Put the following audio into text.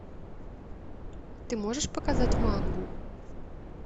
ты можешь показать мангу